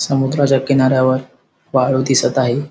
समुद्राच्या किनाऱ्यावर वाळू दिसत आहे.